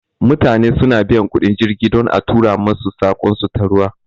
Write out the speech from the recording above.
Mutane su na biyan kuɗin jirgi don a tura masu saƙon su ta ruwa